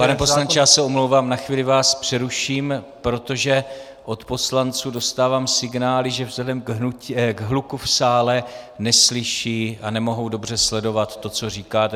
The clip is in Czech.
Pane poslanče, já se omlouvám, na chvíli vás přeruším, protože od poslanců dostávám signály, že vzhledem k hluku v sále neslyší a nemohou dobře sledovat to, co říkáte.